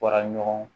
Wara ɲɔgɔn